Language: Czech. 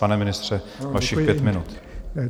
Pane ministře, vašich pět minut.